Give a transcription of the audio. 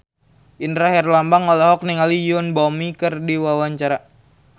Indra Herlambang olohok ningali Yoon Bomi keur diwawancara